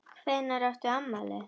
Hvenær átt þú afmæli?